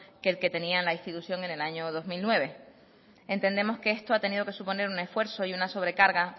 del que tenía la institución en el año dos mil nueve entendemos que esto ha tenido que suponer un esfuerzo y una sobre carga